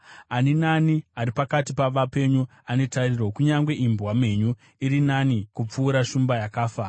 Ani naani ari pakati pavapenyu ane tariro; kunyange imbwa mhenyu iri nani kupfuura shumba yakafa!